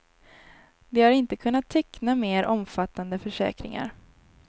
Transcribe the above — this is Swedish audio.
De har inte kunnat teckna mer omfattande försäkringar.